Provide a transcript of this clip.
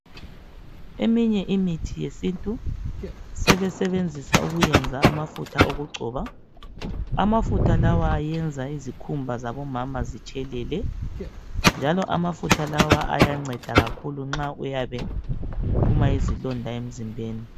Eminye imithi yesintu sebesebenzisa ukwenza amafutha okugcoba amafutha lawa ayenza izikhumba zabomama zitshelele njalo amafutha lawa ayanceda kakhulu nxa uyabe uphuma izilonda emzimbeni.